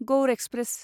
Gaur express